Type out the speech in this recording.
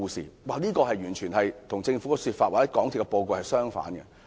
中科的說法完全與政府的說法或港鐵公司的報告相反。